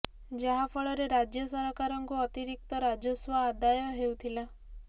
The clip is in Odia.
ଯାହା ଫଳରେ ରାଜ୍ୟ ସରକାରଙ୍କୁ ଅତିରିକ୍ତ ରାଜସ୍ୱ ଆଦାୟ ହେଉଥିଲା